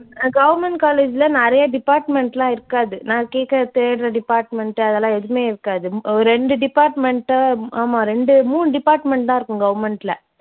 அஹ் government college ல நிறைய department எல்லாம் இருக்காது நான் கேட்குற தேடுற department அதெல்லாம் எதுவுமே இருக்காது. உம் ரெண்டு department ஆமா ரெண்டு, மூணு department தான் இருக்கும் government ல.